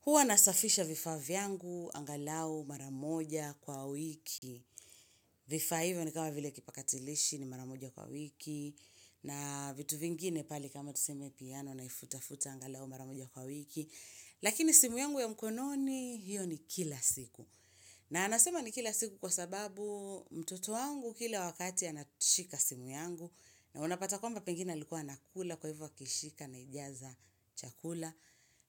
Huwa nasafisha vifaa vyangu, angalau mara moja kwa wiki. Vifaa hivyo ni kama vile kipakatilishi ni mara moja kwa wiki. Na vitu vingine pale kama tuseme piano naifuta-futa angalau mara moja kwa wiki. Lakini simu yangu ya mkononi hiyo ni kila siku. Na anasema ni kila siku kwa sababu mtoto wangu kila wakati anachika simu yangu. Na unapata kwamba pengine alikuwa anakula kwa hivyo akishika anaijaza chakula.